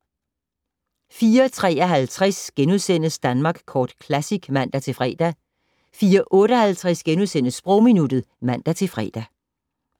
04:53: Danmark Kort Classic *(man-fre) 04:58: Sprogminuttet *(man-fre)